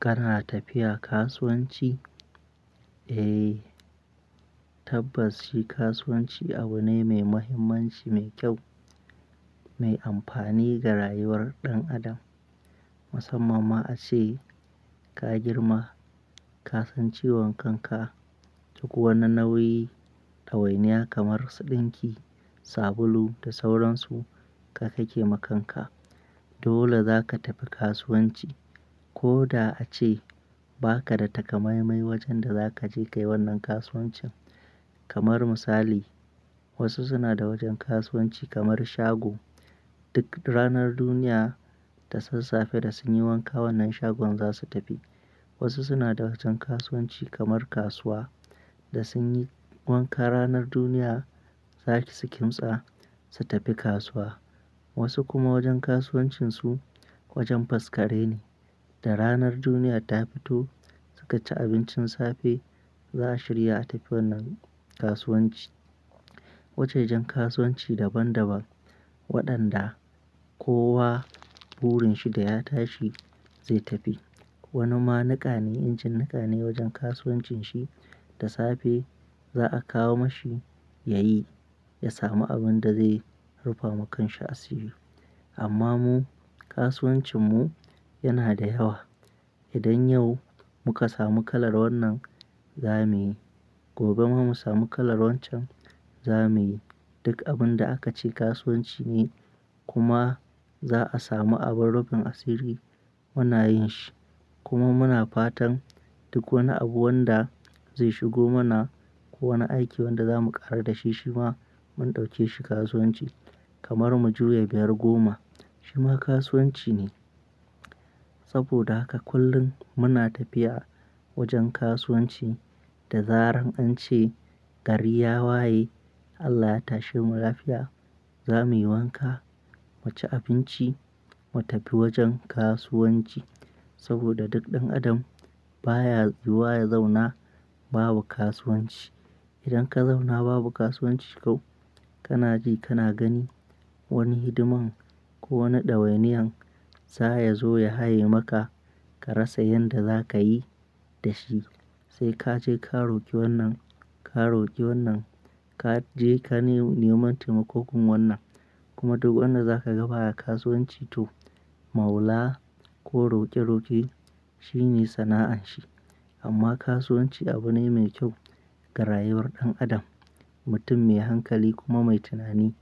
Kana tafiya kasuwanci? Eh, tabbas shi kasuwanci abu ne mai mahimmanci, mai kyau, mai amfani ga rayuwar ɗan adam. Musamman ma ace ka girma, ka san ciwon kanka, duk wani nauyi da wainiya kamar su dinki, sabulu da sauransu kai ka ke ma kanka. Dole zaka tafi kasuwanci. Ko da ace ba ka da takamaimai wajen da za ka je ka yi wannan kasuwancin. Kamar misali, wasu suna da wajen kasuwanci kamar shago. Duk ranar duniya ta sassafe da sun yi wanka wannan shagon za su tafi. Wasu suna da wajen kasuwanci kamar kasuwa da sun yi wanka ranar duniya, zaki su kimtsa, su tafi kasuwa. Wasu kuma wajen kasuwancinsu wajen faskare ne, da ranar duniya ta fito, suka ci abincin safe, za su shirya a tafi wannan kasuwanci. Wajajen kasuwanci daban daban waɗanda kowa burin shi da ya tashi zai tafi. Wani ma niƙa ne, injin niƙa ne wajen kasuwancin shi, da safe za a kawo mashi ya yi, ya samu abin da zai rufa ma kanshi asiri. Amma mu, kasuwancin mu yana da yawa. Idan yau muka samu kalar wannan, za mu yi. Gobe ma mu samu kalar waccan, za mu yi. Duk abin da aka ce kasuwanci ne kuma za a samu abin rufin asiri muna yin shi. Kuma muna fatan duk wani abu wanda zai shigo mana, ko wani aiki wanda za mu ƙaru da shi shima mun ɗauke shi kasuwanci. Kamar mu juya biyar goma shima kasuwanci ne. Saboda haka kullum muna tafiya wajen kasuwanci da zarar an ce gari ya waye, Allah ya tashe mu lafiya, za mu yi wanka, mu ci abinci, mu tafi wajen kasuwanci. Saboda duk ɗan adam baya zuwa ya zauna babu kasuwanci. Idan ka zauna babu kasuwanci tau, kana ji kana gani wani hidiman ko wani ɗawainiyan za ya zo ya haye maka ka rasa yanda za ka yi da shi. Sai ka je ka roƙi wannan, ka roƙi wannan, ka je ka neman taimakon wannan. Kuma duk wanda zakaga baya kasuwanci to maula ko roƙe roƙe shine sana'anshi. Amma kasuwanci abu ne mai kyau ga rayuwar ɗan adam. Mutum mai hankali kuma mai tunani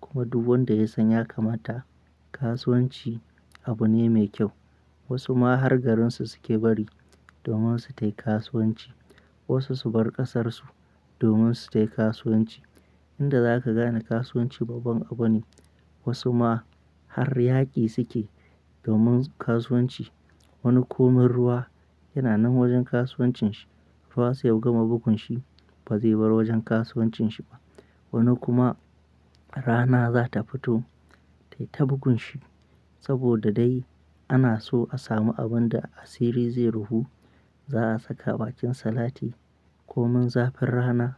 kuma duk wanda ya san ya kamata kasuwanci abu ne mai kyau. Wasu ma har garinsu suke bari domin su tafi kasuwanci. Wasu su bar ƙasar su domin su tafi kasuwanci. Inda za ka gane kasuwanci babban abu ne. Wasu ma har yaƙi suke domin kasuwanci. Wani komin ruwa yana nan wajen kasuwancin shi, ruwa sai ya gama bugun shi ba zai bar wajen kasuwancin shi ba. Wani kuma rana za ta fito, tai ta bugun shi. Saboda dai ana so a samu abin da asiri zai rufu. Za a saka bakin salati, komin zafin rana,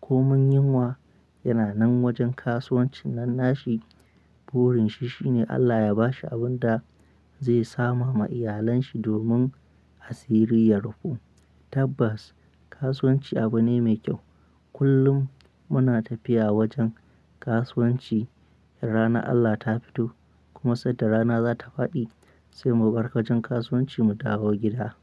komin yinwa yana nan wajen kasuwancin nan nashi. Burin shi shine Allah ya ba shi abin da zai sama ma iyalun shi domin asiri ya rufu. Tabbas kasuwanci abu ne mai kyau. Kullum muna tafiya wajen kasuwanci in rana Allah ta fito kuma sanda rana za ta faɗi sai mu bar wajen kasuwanci mu dawo gida.